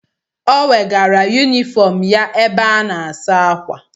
Ọ wegara yunifọm ya ebe a na-asa ákwà.